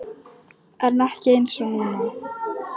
En ekki einsog núna.